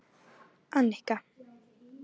Annika